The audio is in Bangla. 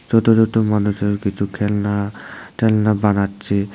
ছোট ছোট মানুষের কিছু খেলনা টেলনা বানাচ্ছে।